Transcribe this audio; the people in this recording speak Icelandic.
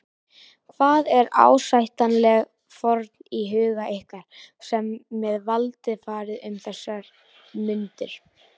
Hvað er ásættanleg fórn í huga ykkar sem með valdið farið um þessar mundir?